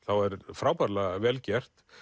frábærlega vel gert